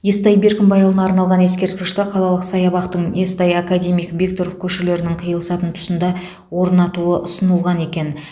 естай беркімбайұлына арналған ескерткішті қалалық саябақтың естай академик бектұров көшелерінің қиылысатын тұсында орнатуы ұсынылған екен